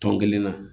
Tɔn kelen na